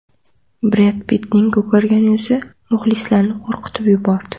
Bred Pittning ko‘kargan yuzi muxlislarni qo‘rqitib yubordi.